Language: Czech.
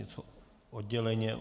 Něco odděleně?